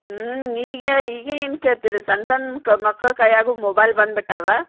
ಹ್ಮ್ ಈಗ ಈಗ ಏನ್ ಕೇಳ್ತೀರಿ ಸಣ್ಣ ಸಣ್ಣ ಮಕ್ಕಳ್ ಮಕ್ಕಳ್ ಕೈಯಾಗು mobile ಬಂದ್ ಬಿಟ್ಟಾವ.